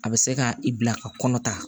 A bɛ se ka i bila ka kɔnɔ ta